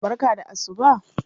Barka da asuba.